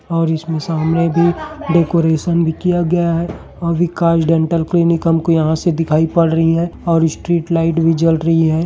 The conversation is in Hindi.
और इसमे सामने भी डेकोरेशन भी किया गया है और विकाश डेंटल क्लिनिक हम को यहाँ से दिखाई पड रही है और स्ट्रीट लाइट भी जल रही है।